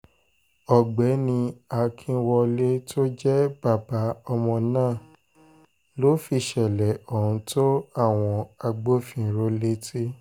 ọ̀gbẹ́ni akínwọlé tó jẹ́ bàbá ọmọ náà ló fìṣẹ̀lẹ̀ ohun tó àwọn agbófinró létí